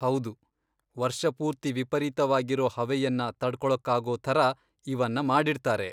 ಹೌದು, ವರ್ಷ ಪೂರ್ತಿ ವಿಪರೀತವಾಗಿರೋ ಹವೆಯನ್ನ ತಡ್ಕೊಳಕ್ಕಾಗೋ ಥರ ಇವನ್ನ ಮಾಡಿರ್ತಾರೆ.